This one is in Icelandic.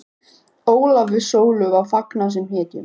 Ólafi og Sólu var fagnað sem hetjum.